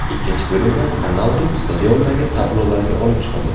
Ikkinchi bo‘limda Ronaldu stadiondagi tablolarga olib chiqildi.